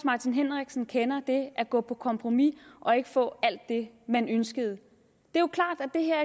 martin henriksen kender det at gå på kompromis og ikke få alt det man ønsker at det her